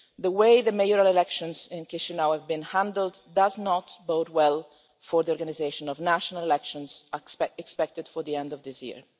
The way the mayoral elections in Chișinău have been handled does not bode well for the organisation of the national elections expected at the end of this year.